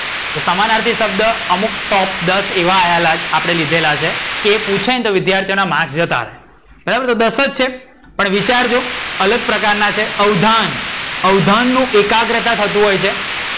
તો સમાનાર્થી શબ્દ અમુક દસ એવા આપણે લીધેલા છે એ પૂછાય ને તો વિધ્યાર્થીઓનાં માર્ક જતાં રે. બરાબર તો દસ જ છે પણ વિચારજો અલગ પ્રકાર ના છે. અવધાન. અવધાન નું એકાગ્રહતા થતું હોય છે.